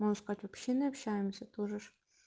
можно сказать вообще не общаемся тут же ж